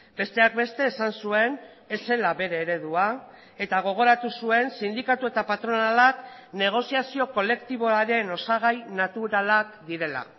besteak beste esan zuen ez zela bere eredua eta gogoratu zuen sindikatu eta patronalak negoziazio kolektiboaren osagai naturalak direla